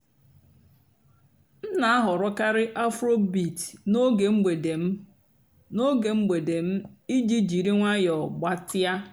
m nà-àhọ́rọ́kàrị́ afróbeat n'óge m̀gbèdé m n'óge m̀gbèdé m ìjì jírí ǹwànyọ́ gbàtị́á.